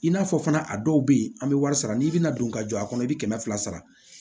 I n'a fɔ fana a dɔw bɛ yen an bɛ wari sara n'i bɛna don ka jɔ a kɔnɔ i bɛ kɛmɛ fila sara